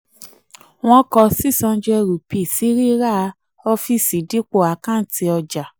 wọ́n kó six hundred rupee sí ríra ọfíìsì dipo àkàǹtì ọjà.